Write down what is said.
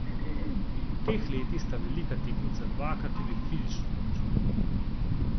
V teh letih sta velika tekmeca dvakrat tudi fizično obračunala.